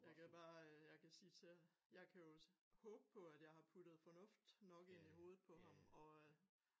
Jeg kan bare øh jeg kan sige til jeg kan jo håbe på at jeg har puttet fornut nok ind i hovedet på ham og øh